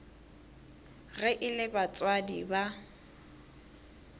ge e le batswadi ba